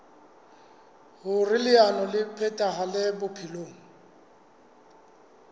hoer leano le phethahale bophelong